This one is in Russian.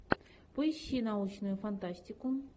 поищи научную фантастику